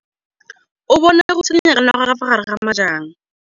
O bone go tshikinya ga noga ka fa gare ga majang.